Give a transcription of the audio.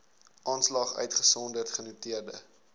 aanslag uitgesonderd genoteerde